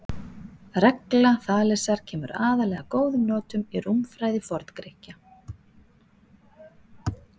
Regla Þalesar kemur aðallega að góðum notum í rúmfræði Forngrikkja.